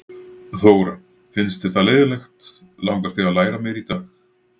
Þóra: Finnst þér það leiðinlegt, langar þig að læra meira í dag?